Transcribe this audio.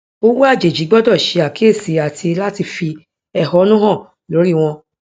owó àjèjì gbọdọ ṣe àkíyèsí àti láti fi ẹhọnú hàn lórí wọn